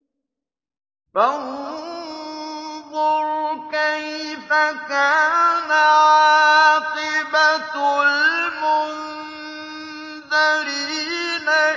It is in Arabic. فَانظُرْ كَيْفَ كَانَ عَاقِبَةُ الْمُنذَرِينَ